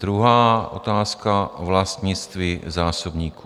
Druhá otázka: vlastnictví zásobníků.